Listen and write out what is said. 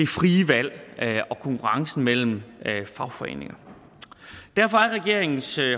frie valg og konkurrencen mellem fagforeninger derfor er regeringens